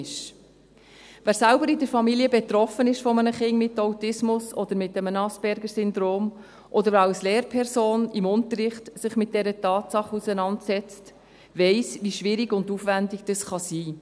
Wer in der Familie selbst von einem Kind mit Autismus oder mit einem Aspergersyndrom betroffen ist, oder sich als Lehrperson im Unterricht mit dieser Tatsache auseinandersetzt, weiss, wie schwierig und aufwendig das sein kann.